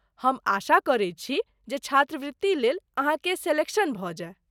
हम आशा करैत छी जे छात्रवृति लेल अहाँके सेलेक्शन भऽ जाय।